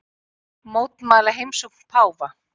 Mótmæla heimsókn páfa